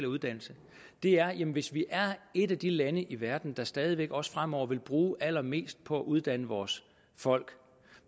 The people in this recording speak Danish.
uddannelse er hvis vi er et af de lande i verden der stadig væk også fremover vil bruge allermest på at uddanne vores folk